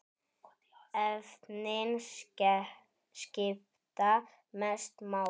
Efnin skipta mestu máli.